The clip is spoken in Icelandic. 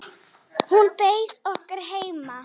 Hún beið okkar heima.